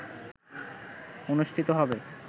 অনুষ্ঠিত হবে